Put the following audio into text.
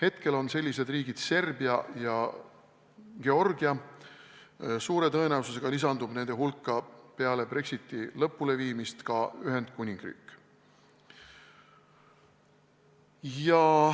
Praegu on sellised riigid Serbia ja Georgia, suure tõenäosusega lisandub nende hulka peale Brexiti lõpuleviimist ka Ühendkuningriik.